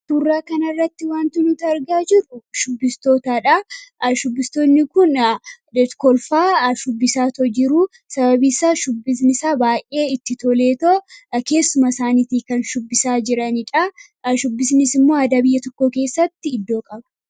Suuraa kanarratti waanti nuti argaa jirru shubbistootadha. Shubbistoonni kun kolfaa shubbisaa otoo jiruu sababii isaa shubbisnisaa baay'ee itti toleetoo keessuma isaaniitii kan shubbisaa jiranidha. Shubbisnis immoo aadaa biyya tokkoo keessatti iddoo qaba.